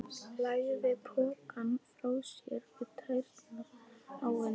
Lagði pokann frá sér við tærnar á henni.